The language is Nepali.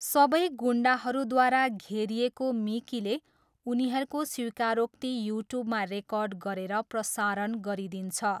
सबै गुन्डाहरूद्वारा घेरिएको मिकीले उनीहरूको स्वीकारोक्ति युट्युबमा रेकर्ड गरेर प्रसारण गरिदिन्छ।